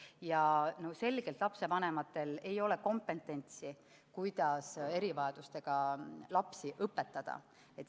Ja selgelt lapsevanematel ei ole kompetentsi, kuidas erivajadustega lapsi õpetada.